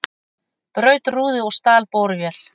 Braut rúðu og stal borvél